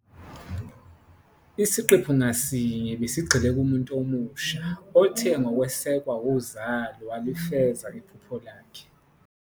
Isiqephu ngasinye besigxile kumuntu omusha, othe ngokwesekwa uZola walifeza iphupho lakhe.